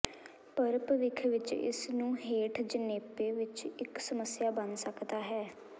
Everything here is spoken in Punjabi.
ਪਰ ਭਵਿੱਖ ਵਿੱਚ ਇਸ ਨੂੰ ਹੇਠ ਜਣੇਪੇ ਵਿੱਚ ਇੱਕ ਸਮੱਸਿਆ ਬਣ ਸਕਦਾ ਹੈ